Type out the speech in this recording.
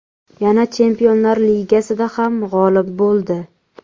Yana Chempionlar Ligasida ham g‘olib bo‘ldi.